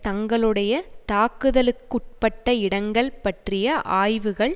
தங்களுடைய தாக்குதலுக்குட்பட்ட இடங்கள் பற்றிய ஆய்வுகள்